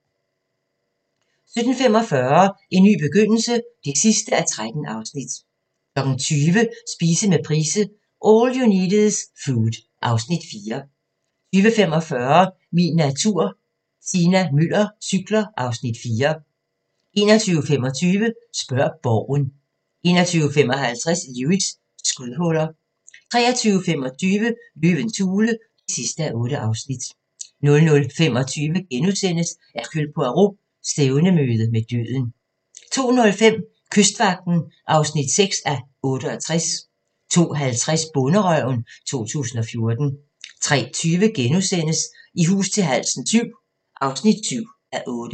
17:45: En ny begyndelse (13:13) 20:00: Spise med Price – All you need is food (Afs. 4) 20:45: Min natur - Tina Müller cykler (Afs. 4) 21:25: Spørg Borgen 21:55: Lewis: Skudhuller 23:25: Løvens hule (8:8) 00:25: Hercule Poirot: Stævnemøde med døden * 02:05: Kystvagten (6:68) 02:50: Bonderøven 2014 03:20: I hus til halsen VII (7:8)*